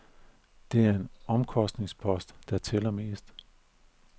Det er den omkostningspost, der tæller mest.